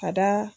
Ka da